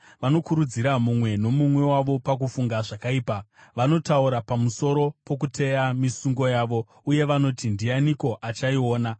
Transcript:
Vanokurudzira mumwe nomumwe wavo pakufunga zvakaipa, vanotaura pamusoro pokuteya misungo yavo, uye vanoti, “Ndianiko achaiona?”